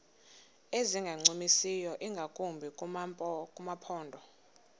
ezingancumisiyo ingakumbi kumaphondo